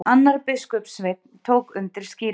Annar biskupssveinn tók undir skýringuna.